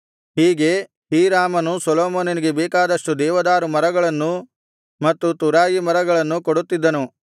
ಹೀಗೆ ಹೀರಾಮನು ಸೊಲೊಮೋನನಿಗೆ ಬೇಕಾದಷ್ಟು ದೇವದಾರು ಮರಗಳನ್ನೂ ಮತ್ತು ತುರಾಯಿ ಮರಗಳನ್ನೂ ಕೊಡುತ್ತಿದ್ದನು